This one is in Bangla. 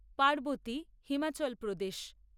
পার্বতী হিমাচল প্রদেশ